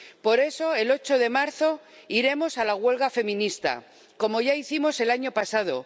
Por eso, el 8 de marzo iremos a la huelga feminista, como ya hicimos el año pasado.